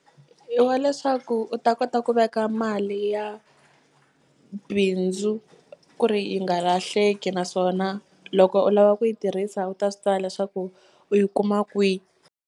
I wa leswaku u ta kota ku veka mali ya bindzu ku ri yi nga lahleki naswona loko u lava ku yi tirhisa u ta swi tiva leswaku u yi kuma kwi.